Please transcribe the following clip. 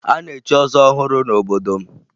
A na-echi ọzọ ọhụrụ n'obodo m